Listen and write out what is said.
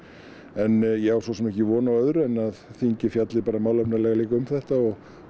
en ég á svo sem ekki von á öðru en að þingið fjalli málefnalega um þetta og